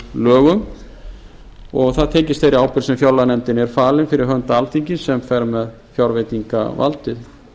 fjárreiðulögum og það tengist þeirri ábyrgð sem fjárlaganefndinni er falið fyrir hönd alþingis sem fer með fjárveitingavaldið